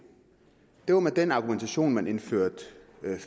det var med den argumentation at man indførte